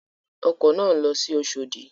Ọkọ̀ náà ń lọ sí Oṣòdì.